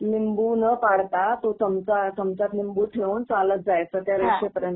लिंबू न पाडता, तो चमचा त्या चमच्यात लिंबू ठेऊन चालत जायचं त्या रेषेपर्यंत.